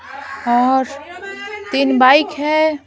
और तीन बाइक है ।